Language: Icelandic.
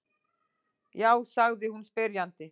Já? sagði hún spyrjandi.